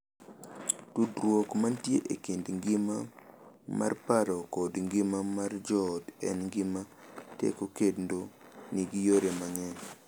Tudruok mantie e kind ngima mar paro kod ngima mar joot en gima tek kendo nigi yore mang’eny,